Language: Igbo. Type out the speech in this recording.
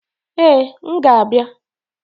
Ee, m ga-abịa